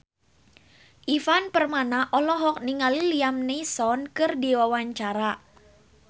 Ivan Permana olohok ningali Liam Neeson keur diwawancara